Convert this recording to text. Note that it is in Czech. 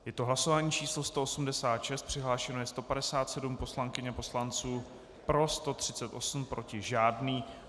Je to hlasování číslo 186, přihlášeno je 157 poslankyň a poslanců, pro 138, proti žádný.